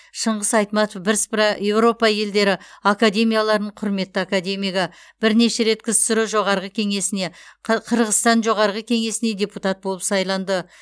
шыңғыс айтматов бірсыпыра еуропа елдері академияларының құрметті академигі бірнеше рет ксро жоғарғы кеңесіне қы қырғызстан жоғарғы кеңесіне депутат болып сайланды